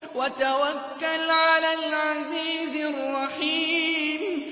وَتَوَكَّلْ عَلَى الْعَزِيزِ الرَّحِيمِ